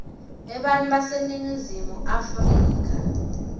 ebantfu baseningizimu afrika